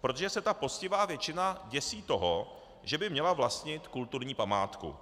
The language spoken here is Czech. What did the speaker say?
protože se ta poctivá většina děsí toho, že by měla vlastnit kulturní památku.